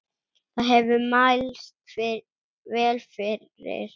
Það hefur mælst vel fyrir.